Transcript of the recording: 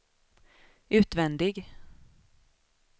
utvändig